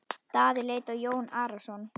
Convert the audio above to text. Daði leit á Jón Arason.